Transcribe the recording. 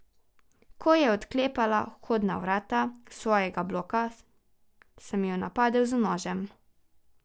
Ko je odklepala vhodna vrata svojega bloka, sem jo napadel z nožem.